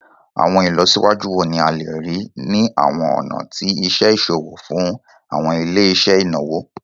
Awọn ilọsiwaju wo ni a le rii ni awọn ọna ti iṣe iṣowo fun awọn ile-iṣẹ inawo?